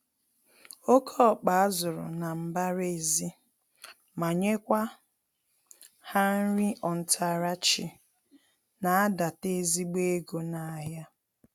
Oké ọkpa azụrụ na mbara-ezi, ma nyekwa ha nri ontarachi na adata ezigbo ego nahịa.